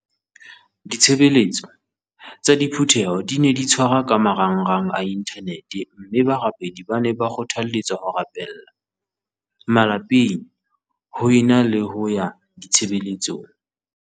Ditshebeletso tsa diphu theho di ne di tshwarwa ka marangrang a inthanete mme barapedi ba ne ba kgothale tswa ho rapella malapeng ho e na le ho ya ditshebeletsong.